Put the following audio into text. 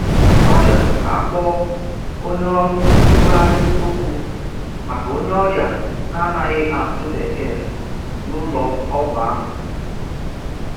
Ọ rịọrọ ka a kpoo onye ọrụ ntụgharị okwu maka onye ọrịa na-anaghị asụ Bekee n'ụlọ ọgwụ ahụ.